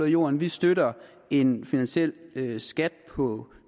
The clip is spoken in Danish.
i jorden vi støtter en finansiel skat på